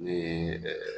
Ni